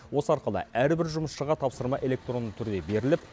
осы арқылы әрбір жұмысшыға тапсырма электронды түрде беріліп